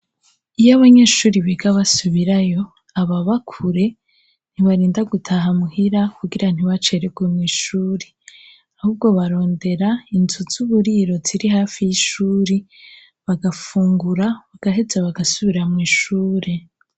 Iyo abanyeshuri biga basubirayo ababa kure ntibarinda gutaha muhira kugira ntibacererwe mw'ishuri, ahubwo barondera inzu z'uburiro ziri hafi y'ishuri bagafungura, bagaheza bagasubira mw'ishuri.